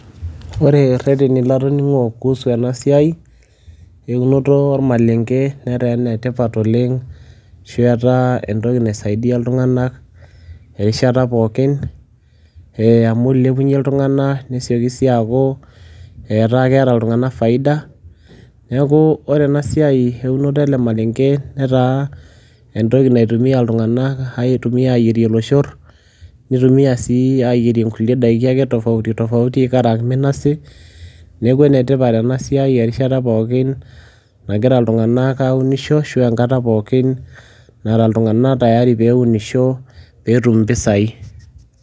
Ore ireteni latoning'o kuhusu ena siai eunoto ormaleng'e netaa ene tipat oleng' ashu etaa entoki naisaidia iltung'anak erishata pookin ee amu ilepunye iltung'anak nesioki sii aaku etaa keeta iltung'anak faida. Neeku ore ena siai eunoto ele maleng'e, netaa entoki naitumia iltung'anak aitumia aayierie iloshor, nitumia sii aayierie nkulie daiki ake tofauti tofauti, ikaraang' minasi. Neeku ene tipat ena siai erishata pookin nagira iltung'anak aunisho ashu enkata pookin nara iltung'anak tayari peeunisho peetum impisai.